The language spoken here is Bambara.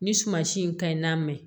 Ni suma si in ka ɲi n'a mɛn